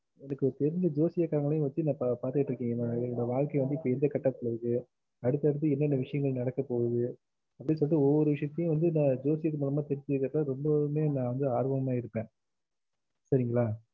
அடுத்துஎனக்கு தெரிஞ்ச ஜோசியகரங்களையும் வச்சு ந பாத்துட்டு இருக்கேன் ஏன் வாழ்க்கை இப்போ வந்து எந்த கட்டத்துல இருக்கு அடுத்து அடுத்து என்னென்ன விஷயங்கள் நடக்க போகுது அப்டின்னு சொல்லிட்டு ஒவ்வொரு விசயத்தையும் வந்து நா ஜோசியத்தின் மூலம் தெரிஞ்சுகுரதுல ரொம்பவுமே நா ஆர்வம்மா இருப்பேன் சரிங்கள